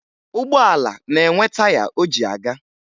Ụgbọala na-enwe taya o ji aga